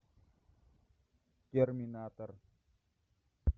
терминатор